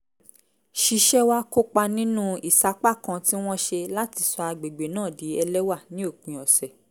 ṣiṣẹ́ wá kópa nínú ìsapá kan tí wọ́n ṣe láti sọ àgbègbè náà di ẹlẹ́wà ní òpin ọ̀sẹ̀